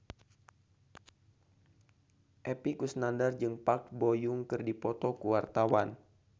Epy Kusnandar jeung Park Bo Yung keur dipoto ku wartawan